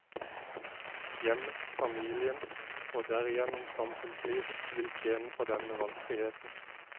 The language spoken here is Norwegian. Hjemmet, familien og derigjennom samfunnslivet vil tjene på denne valgfriheten.